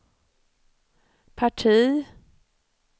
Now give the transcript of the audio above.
parti